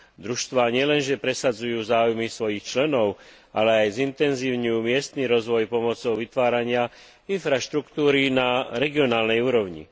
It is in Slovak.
Družstvá nielenže presadzujú záujmy svojich členov, ale aj zintenzívňujú miestny rozvoj pomocou vytvárania infraštruktúry na regionálnej úrovni.